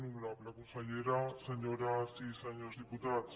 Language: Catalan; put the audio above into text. honorable consellera senyores i senyors diputats